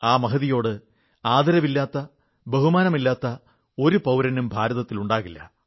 ആ മഹതിയോട് ആദരവില്ലാത്ത ബഹുമാനമില്ലാത്ത ഒരു പൌരനും ഭാരതത്തിൽ ഉണ്ടാകില്ല